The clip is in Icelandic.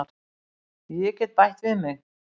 Ég get bætt við mig.